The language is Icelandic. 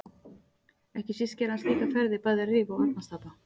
Ekki síst gerði hann slíkar ferðir bæði að Rifi og Arnarstapa.